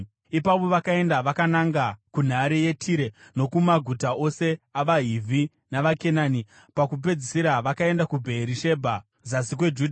Ipapo vakaenda vakananga kunhare yeTire nokumaguta ose avaHivhi navaKenani. Pakupedzisira, vakaenda kuBheerishebha zasi kweJudha.